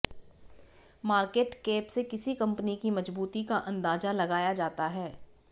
market cap से किसी company की मजबूती का अंदाजा लगाया जाता है